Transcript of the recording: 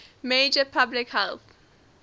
major public health